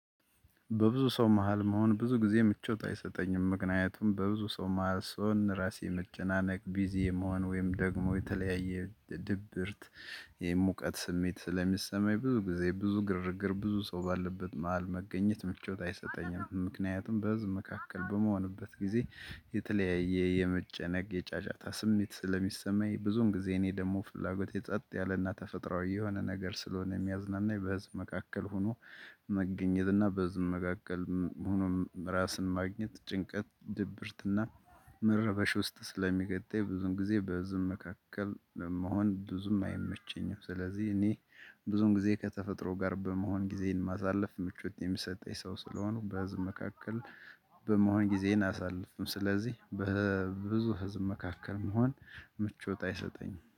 በብዙ ሰው መሃል መሆን ብዙ ጊዜ ምቾት አይሰጠኝም ምክንያቱም በብዙ ሰው መሃል ስሆን ራሴ መጨናነቅ ቢዚ የመሆን ወይም ደግሞ የተለያየ ድብርት። የሙቀት ስሜት ስለሚሰማኝ ብዙ ጊዜ ብዙ ግርግር ብዙ ሰው ባለበት መሃል መገኘት ምቾት አይሰጠኝም። ምክንያቱም በዚህ መካከል በመሆንበት ጊዜ የተለያየ የመጨነቅ የጫጫታ ስሜት ስለሚሰማኝ ብዙን ጊዜ እኔ ደግሞ ፍላጎት የጸጥ ያለና ተፈጥሮአዊ የሆነ ነገር ስለሆነ የሚያዝናናኝ በህዝብ መካከል ሆኖ። መገኘትና በህዝብ መካከል ሁኖም ራስን ማግኘት ጭንቀት ድብርትና መረበሽ ውስጥ ስለሚገጠኝ ብዙን ጊዜ በብዙም መካከል መሆን ብዙም አይመቸኝም። ስለዚህ እኔ ብዙም ጊዜ ከተፈጥሮ ጋር በመሆን ጊዜን ማሳለፍ ምቾት የሚሰጠኝ ሰው ስለሆኑ። በህዝብ መካከል በመሆን ጊዜን አሳልፍም። ስለዚህ በብዙ ህዝብ መካከል መሆን ምቾት አይሰጠኝም